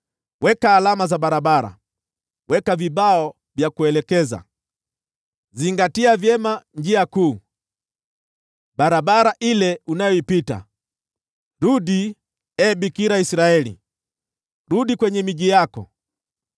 “Weka alama za barabara, weka vibao vya kuelekeza. Zingatia vyema njia kuu, barabara ile unayoipita. Rudi, ee Bikira Israeli, rudi kwenye miji yako.